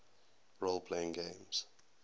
role playing games